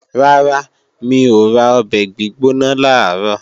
Rárá, mi ò ra ọbẹ̀ gbígbóná làárọ̀